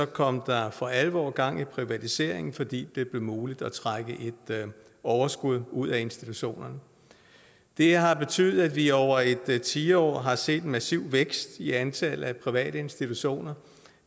kom der for alvor gang i privatiseringen fordi det blev muligt at trække et overskud ud af institutionerne det har betydet at vi over et tiår har set en massiv vækst i antallet af private institutioner